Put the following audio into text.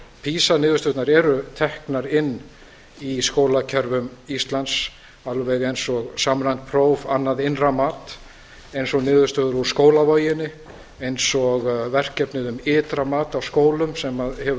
pisa niðurstöðurnar eru teknar inn í skólakerfum íslands alveg eins og samræmt próf annað innra mat eins og niðurstöður úr skólavoginni eins og verkefnið um ytra mat á skólum sem hefur